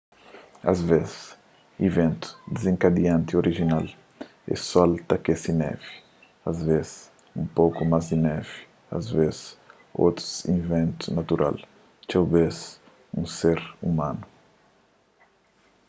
asvês iventu dizenkadianti orijinal é sol ta akese nevi asvês un poku más di nevi asvês otus iventu natural txeu bês un ser umanu